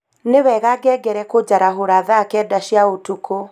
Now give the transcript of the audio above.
Nĩ wega ngengere kũnjarahũra thaa kenda cia ũtukũ.